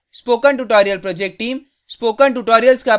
spoken tutorial project team